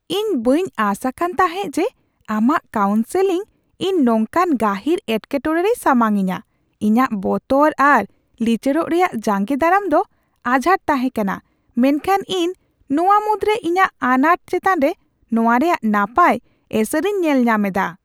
ᱤᱧ ᱵᱟᱹᱧ ᱟᱸᱥ ᱟᱠᱟᱱ ᱛᱟᱦᱮᱸ ᱡᱮ ᱟᱢᱟᱜ ᱠᱟᱣᱩᱱᱥᱮᱞᱤᱝ ᱤᱧ ᱱᱚᱝᱠᱟᱱ ᱜᱟᱹᱦᱤᱨ ᱮᱴᱠᱮᱴᱚᱲᱮ ᱨᱮᱭ ᱥᱟᱢᱟᱝ ᱤᱧᱟᱹ ! ᱤᱧᱟᱹᱜ ᱵᱚᱛᱚᱨ ᱟᱨ ᱞᱤᱪᱟᱹᱲᱚᱜ ᱨᱮᱭᱟᱜ ᱡᱟᱸᱜᱮ ᱫᱟᱨᱟᱢ ᱫᱚ ᱟᱡᱷᱟᱸᱴ ᱛᱟᱦᱮᱸ ᱠᱟᱱᱟ, ᱢᱮᱱᱠᱷᱟᱱ ᱤᱧ ᱱᱚᱣᱟ ᱢᱩᱫᱽᱨᱮ ᱤᱧᱟᱹᱜ ᱟᱱᱟᱴ ᱪᱮᱛᱟᱱ ᱨᱮ ᱱᱚᱣᱟ ᱨᱮᱭᱟᱜ ᱱᱟᱯᱟᱭ ᱮᱥᱮᱨᱤᱧ ᱧᱮᱞ ᱧᱟᱢ ᱮᱫᱟ ᱾